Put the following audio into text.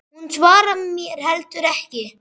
Hún svarar mér heldur ekki.